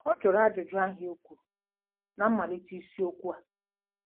Ọ jụrụ ajụjụ ahụ e kwuru ná mmalite isiokwu a.